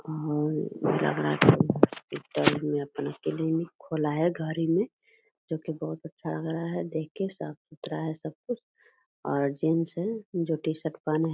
और लग रहा है कोई हॉस्पिटल में अपना क्लिनिक खोला है घर ही में जो बहुत अच्छा लग रहा है देख के साफ़-सुथरा है सब कुछ और जीन्स है जो टी-शर्ट पहने --